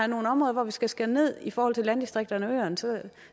nogle områder hvor vi skal skære ned i forhold til landdistrikterne og øerne